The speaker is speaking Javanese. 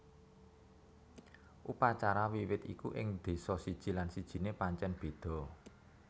Upacara Wiwit iku ing désa siji lan sijiné pancèn béda